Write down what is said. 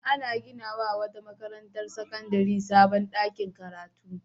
An gina wa wata makarantar sakandare sabon ɗakin karatu.